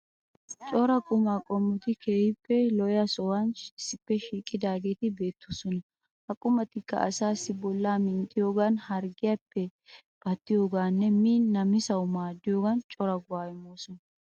Cora qumaa qommoti keehippe lo'iya sohuwan issippe shiiqidaageeti beettoosona. Ha qumatikka asaassi bollaa minttiyoogan, harggiyaappe pattiyogaaninne miin namisawu maaddiyogan cora go"aa immoosona.